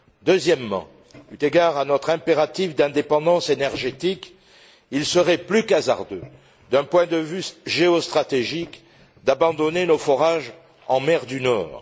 Deuxièmement, eu égard à notre impératif d'indépendance énergétique, il serait plus qu'hasardeux, d'un point de vue géostratégique, d'abandonner nos forages en mer du Nord.